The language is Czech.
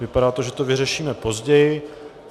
Vypadá to, že to vyřešíme později.